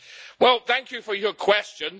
Well, thank you for your question.